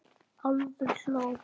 Álfur hló.